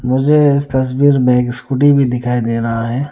मुझे इस तस्वीर में एक स्कूटी भी दिखाई दे रहा है।